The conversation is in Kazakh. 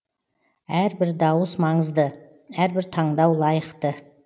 әрбір дауыс маңызды әрбір таңдау лайықты